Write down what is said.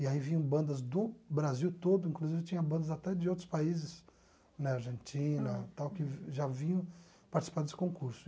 E aí vinham bandas do Brasil todo, inclusive tinha bandas até de outros países, né, Argentina e tal, que já vinham participar desse concurso.